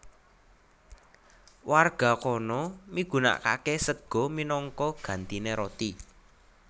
Warga kana migunakake sega minangka gantine roti